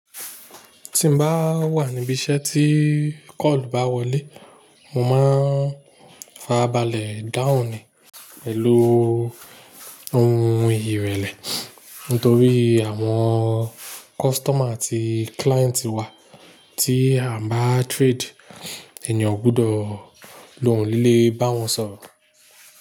Tí mo bá wà níbí iṣẹ́ tí call bá wọlé, mo máa ń fa arabálẹ̀ dahun ni, pẹlu ohun ìyìrẹ̀lẹ̀. Nítorí àwọn customer àti client wà tí à ń bá trade, ènìyàn o gbọdọ̀ lòún líle bá wọn sọ̀rọ̀